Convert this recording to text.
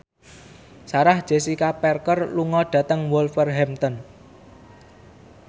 Sarah Jessica Parker lunga dhateng Wolverhampton